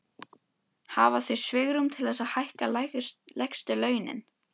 Hafa þau svigrúm til þess að hækka lægstu launin?